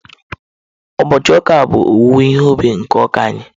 Ụbọchị ụka a bụ owuwe ihe ubi nke ụka anyị